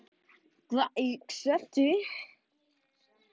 Hvað hugsar þú?